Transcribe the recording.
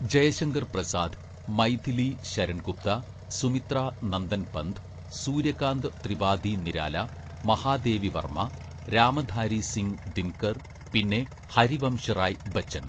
ജയശങ്കർ പ്രസാദ്, മൈഥിലി ശരൺ ഗുപ്ത, സുമിത്രാ നന്ദൻപന്ത്, സൂര്യകാന്ത് ത്രിപാദി നിരാലാ, മഹാദേവി വർമ്മ, രാമധാരി സിംഗ് ദിൻകർ പിന്നെ ഹരിവംശറായ് ബച്ചൻ.